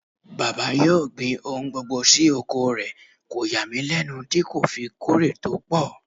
Bàbá yóò gbin ohun gbogbo sí oko rẹ̀, kò yà mí lẹ́nu tí kò fi kórè tó pọ̀.